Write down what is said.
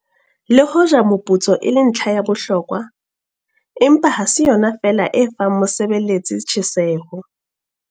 Le hoja moputso e le ntlha ya bohlokwa, empa ha se yona feela e fang mosebeletsi tjheseho.